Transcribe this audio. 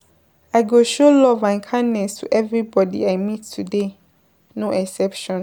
I go show love and kindness to everybody I meet today, no exception.